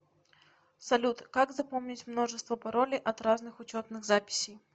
салют как запомнить множество паролей от разных учетных записей